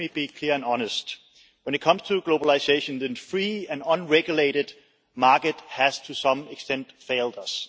Let me be clear and honest when it comes to globalisation, the free and unregulated market has, to some extent, failed us.